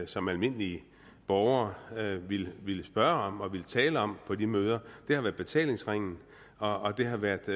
som almindelige borgere ville ville spørge om og ville tale om på de møder det har været betalingsringen og det har været